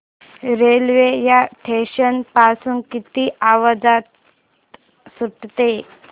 railway या station पासून किती वाजता सुटते